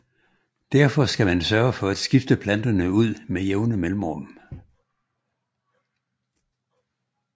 Derfor skal man sørge for at skifte planterne ud med jævne mellemrum